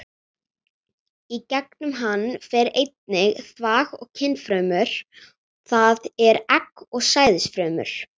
Í gegnum hann fer einnig þvag og kynfrumur, það er egg og sæðisfrumur.